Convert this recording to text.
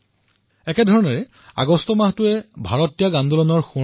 মই বিচাৰিম যে ১৫ আগষ্টৰ বাবে আপোনালোকে যেন বিশেষ আয়োজন কৰে